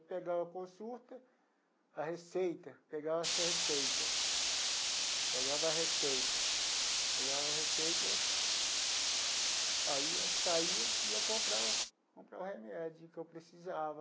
Pegava a consulta, a receita, pegava essa receita, pegava a receita, pegava a receita, aí saia e ia comprar o comprar o remédio que eu precisava.